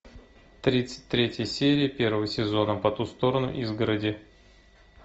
тридцать третья серия первого сезона по ту сторону изгороди